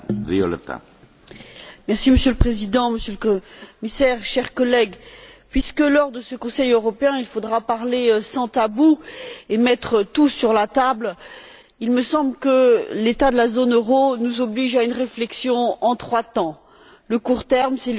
Monsieur le Président, Monsieur le Commissaire, chers collègues, puisque, lors de ce Conseil européen, il faudra parler sans tabous et mettre tout sur la table, il me semble que l'état de la zone euro nous oblige à une réflexion en trois temps le court terme, c'est l'urgence de la situation en Grèce,